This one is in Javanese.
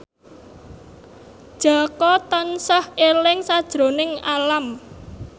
Jaka tansah eling sakjroning Alam